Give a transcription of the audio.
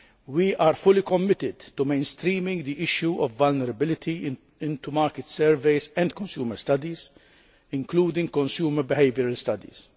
We are fully committed to mainstreaming the issue of vulnerability into market surveys and consumer studies, including consumer behaviour studies.